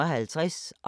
DR P1